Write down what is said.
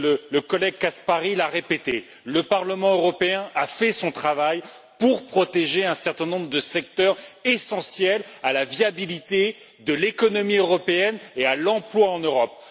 Le collègue Caspary l'a répété, le Parlement européen a fait son travail pour protéger un certain nombre de secteurs essentiels à la viabilité de l'économie européenne et à l'emploi en Europe.